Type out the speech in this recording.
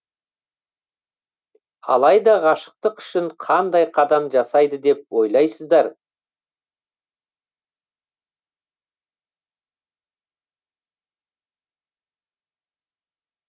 алайда ғашықтық үшін қандай қадам жасайды деп ойлайсыздар